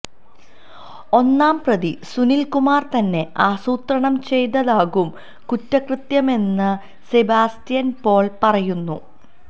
ഒന്നാം പ്രതി സുനില് കുമാര് തന്നെ ആസൂത്രണം ചെയ്തതാകും കുറ്റകൃത്യമെന്ന് സെബാസ്റ്റ്യന് പോള് പറയുന്നു